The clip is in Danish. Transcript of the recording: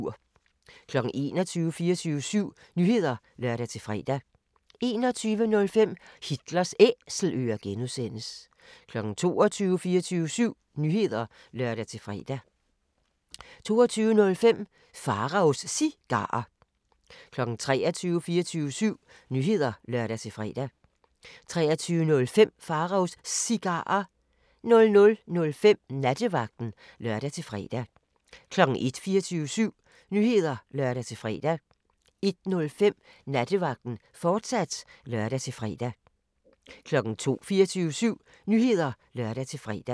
21:00: 24syv Nyheder (lør-fre) 21:05: Hitlers Æselører (G) 22:00: 24syv Nyheder (lør-fre) 22:05: Pharaos Cigarer 23:00: 24syv Nyheder (lør-fre) 23:05: Pharaos Cigarer 00:05: Nattevagten (lør-fre) 01:00: 24syv Nyheder (lør-fre) 01:05: Nattevagten, fortsat (lør-fre) 02:00: 24syv Nyheder (lør-fre)